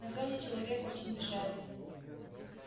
на зоне человек очень мешает